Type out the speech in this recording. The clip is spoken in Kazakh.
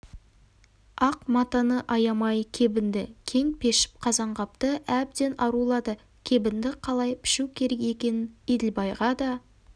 ақ матаны аямай кебінді кең пішіп қазанғапты әбден арулады кебінді қалай пішу керек екенін еділбайға да